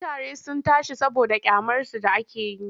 Kutaren sun tashi saboda ƙyamarsu da ake yi.